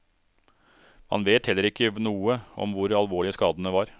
Man vet heller ikke noe om hvor alvorlige skadene var.